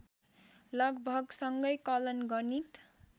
लगभग सँगै कलन गणित